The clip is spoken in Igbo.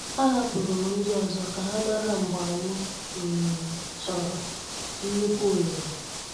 A hapụrụ m ndị ọzọ ka ha mara mgbe anyị um chọrọ nnukwu ohere.